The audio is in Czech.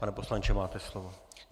Pane poslanče, máte slovo.